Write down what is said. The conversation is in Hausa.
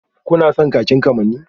Kuna son kakin kamanni?